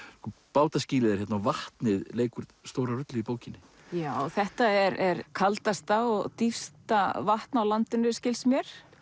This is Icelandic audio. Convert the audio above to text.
bátaskýlið er hérna og vatnið leikur stóra rullu í bókinni já þetta er kaldasta og dýpsta vatn á landinu skilst mér